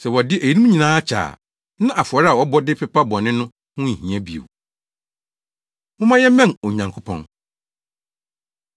Sɛ wɔde eyinom nyinaa kyɛ a, na afɔre a wɔbɔ de pepa bɔne no ho nhia bio. Momma Yɛmmɛn Onyankopɔn